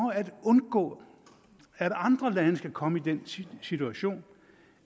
at undgå at andre lande skal komme i den situation